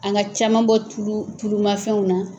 An ka caman bɔ tulu tulmafɛnw na